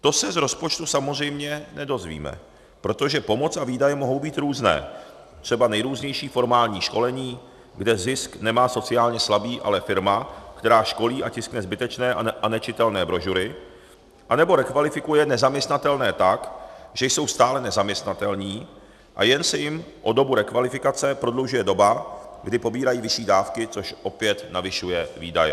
To se z rozpočtu samozřejmě nedozvíme, protože pomoc a výdaje mohou být různé - třeba nejrůznější formální školení, kde zisk nemá sociálně slabý, ale firma, která školí a tiskne zbytečné a nečitelné brožury anebo rekvalifikuje nezaměstnatelné tak, že jsou stále nezaměstnatelní, a jen se jim o dobu rekvalifikace prodlužuje doba, kdy pobírají vyšší dávky, což opět navyšuje výdaje.